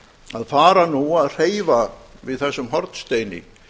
að fara nú að hreyfa við þessum hornsteini